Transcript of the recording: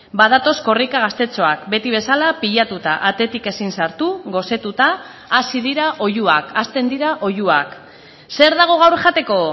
badatoz korrika gaztetxoak beti bezala pilatuta atetik ezin sartu gosetuta hasi dira oihuak hasten dira oihuak zer dago gaur jateko